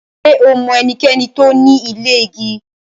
Ṣẹ o mọ ènìkẹ̀ní tó ní ilẹ̀ igi?